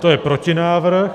To je protinávrh.